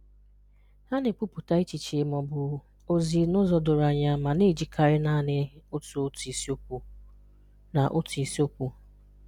Ha na-èkwùpùtà̀ echichè ma ọ̀bụ̀ òzì n’ù̀zọ́ dòrò ànyà ma na-èjíkàrị́ naanị otú otú ìsíokwù na otú ìsíokwù